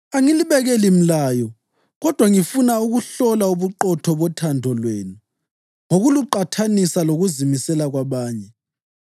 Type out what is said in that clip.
Angilibekeli mlayo kodwa ngifuna ukuhlola ubuqotho bothando lwenu ngokuluqathanisa lokuzimisela kwabanye.